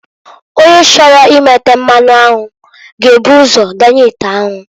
Onye chọrọ imeta mmanụ anwụ g'ebu ụzọ donye ite anwu.